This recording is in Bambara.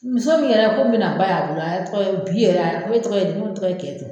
Muso min yɛrɛ fɔ minɛn ba y'a bolo bi yɛrɛ e tɔgɔ di , n ko ne tɔgɔ ye